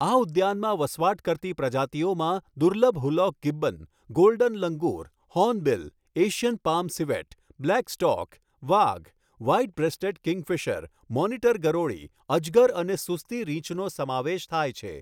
આ ઉદ્યાનમાં વસવાટ કરતી પ્રજાતિઓમાં દુર્લભ hoolock gibbon, golden langur, hornbill, Asian palm civet, black stork, વાઘ, વ્હાઇટ બ્રેસ્ટેડ કિંગફિશર, મોનિટર ગરોળી, અજગર અને સુસ્તી રીંછનો સમાવેશ થાય છે.